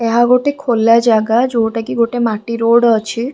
ଏହା ଗୋଟେ ଖୋଲା ଜାଗା ଯୋଉଟାକି ଗୋଟେ ମାଟି ରୋଡ୍‌ ଅଛି ।